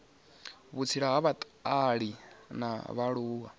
vhutsila na vhutali ha vhaaluwa